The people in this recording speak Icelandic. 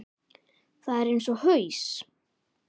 Það er eins og haus